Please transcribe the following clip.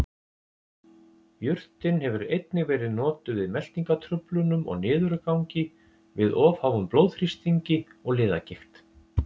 Jurtin hefur einnig verið notuð við meltingartruflunum og niðurgangi, við of háum blóðþrýstingi og liðagigt.